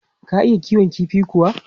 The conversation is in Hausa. Ka iya kiwon kifi kuwa?